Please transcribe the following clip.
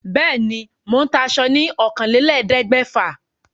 Bẹ́ẹ̀ ni, mò ń ta aṣo ní ọ̀kànlélẹ̀ẹ́dégbèfà.